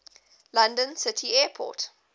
london city airport